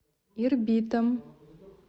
ирбитом